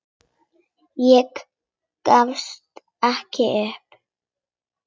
Ég gefst upp.